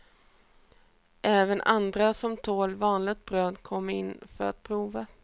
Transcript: Även andra, som tål vanligt bröd, kommer in för att prova.